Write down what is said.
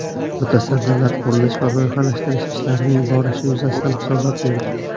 Mutasaddilar qurilish va loyihalashtirish ishlarining borishi yuzasidan hisobot berdi.